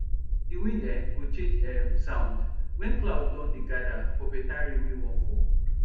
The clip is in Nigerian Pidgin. the wind um go change um sound when cloud don dey gather for better rain wey wan fall